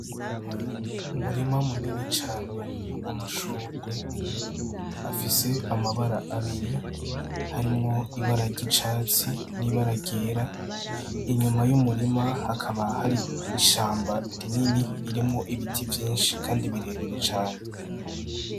Umurima munini cane w'amashurwe, afise amabara abiri harimwo ibara ry'icatsi n'ibara ryera . Inyuma y'umurima hakaba hari ishamba rinini ririmwo ibiti vyinshi kandi birebire cane.